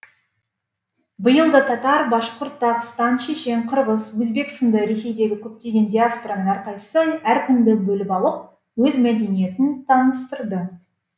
биыл да татар башқұрт дағыстан шешен қырғыз өзбек сынды ресейдегі көптеген диаспораның әрқайсысы әр күнді бөліп алып өз мәдениетін таныстырды